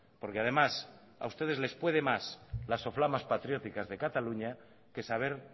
porque además a ustedes les puede más las soflamas patrióticas de cataluña que saber